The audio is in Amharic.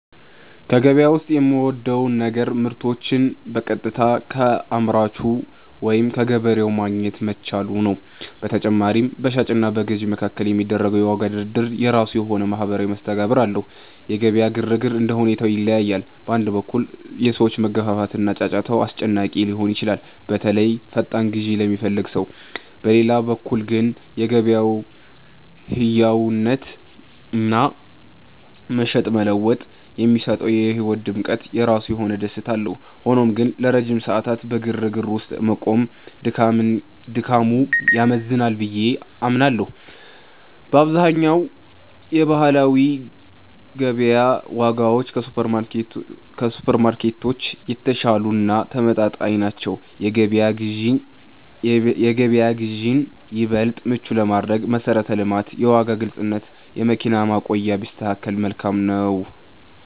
ከገበያ ዉስጥ የምወደው ነገር ምርቶችን በቀጥታ ከአምራቹ ወይም ከገበሬው ማግኘት መቻሉ ነው። በተጨማሪም፣ በሻጭ እና በገዥ መካከል የሚደረገው የዋጋ ድርድር የራሱ የሆነ ማኅበራዊ መስተጋብር አለው። የገበያ ግርግር እንደ ሁኔታው ይለያያል። በአንድ በኩል፣ የሰዎች መገፋፋት እና ጫጫታው አስጨናቂ ሊሆን ይችላል፤ በተለይ ፈጣን ግዢ ለሚፈልግ ሰው። በሌላ በኩል ግን፣ የገበያው ሕያውነትና "መሸጥ መለወጥ" የሚሰጠው የሕይወት ድምቀት የራሱ የሆነ ደስታ አለው። ሆኖም ግን፣ ለረጅም ሰዓታት በግርግር ውስጥ መቆየት ድካሙ ያመዝናል ብዬ አምናለሁ። በአብዛኛው የባህላዊ ገበያ ዋጋዎች ከሱፐርማርኬቶች የተሻሉ እና ተመጣጣኝ ናቸው። የገበያ ግዢን ይበልጥ ምቹ ለማድረግ መሠረተ ልማት፣ የዋጋ ግልጽነት፣ የመኪና ማቆሚያ ቢስተካከከል መልካም ነው።